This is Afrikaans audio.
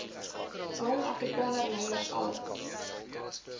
jong afrikanerleiers alles